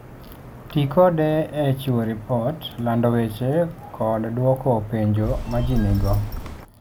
Ti kode e chiwo ripot, lando weche, kod dwoko penjo ma ji nigo.